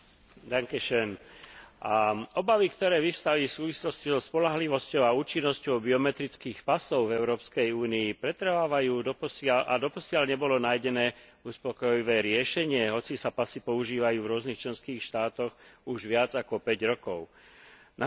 Obavy, ktoré vyvstali v súvislosti so spoľahlivosťou a účinnosťou biometrických pasov v Európskej únii, pretrvávajú doposiaľ a doposiaľ nebolo nájdené uspokojivé riešenie, hoci sa pasy používajú v rôznych členských štátoch už viac ako 5 rokov. Nahradenie klasických papierových